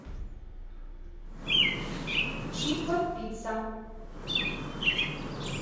чиппо пицца